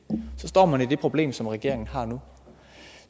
så står man med det problem som regeringen har nu